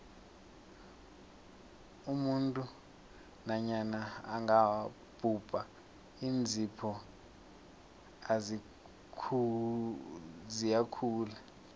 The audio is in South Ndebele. umuntu nanyana angabhubha iinzipho ziyakhula